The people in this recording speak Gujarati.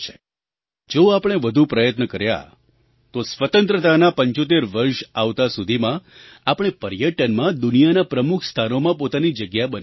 જો આપણે વધુ પ્રયત્ન કર્યા તો સ્વતંત્રતાનાં 75 વર્ષ આવતાં સુધીમાં આપણે પર્યટનમાં દુનિયાનાં પ્રમુખ સ્થાનોમાં પોતાની જગ્યા બનાવી લઈશું